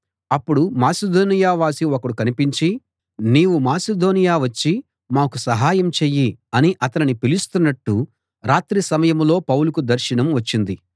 అప్పుడు మాసిదోనియ వాసి ఒకడు కనిపించి నీవు మాసిదోనియ వచ్చి మాకు సహాయం చెయ్యి అని అతనిని పిలుస్తున్నట్టు రాత్రి సమయంలో పౌలుకు దర్శనం వచ్చింది